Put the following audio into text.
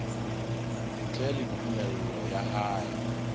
ntle le tumello ya hae